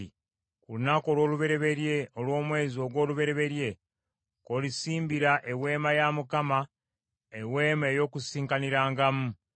“Ku lunaku olw’olubereberye olw’omwezi ogw’olubereberye kw’olisimbira Eweema ya Mukama , Eweema ey’Okukuŋŋaanirangamu.